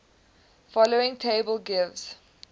following table gives